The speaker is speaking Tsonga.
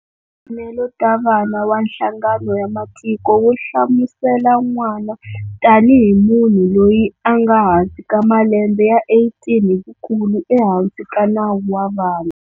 Timfanelo ta vana wa Nhlangano ya matiko wu hlamusela"n'wana" tanihi "munhu loyi anga hansi ka malembe ya 18 hivukulu ehansi ka nawu wa vana".